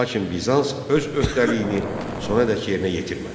Lakin Bizans öz öhdəliyini sonadək yerinə yetirmədi.